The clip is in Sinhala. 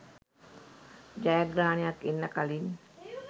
ජයග්‍රහණයක් එන්න කලින්